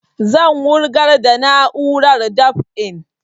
Zan wurgar da na'urar dab'in